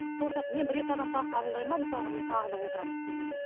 сол сияқты мен бір екі адам тағы қабылдаймын ба мысалға мен тағы да отырамын кей кезде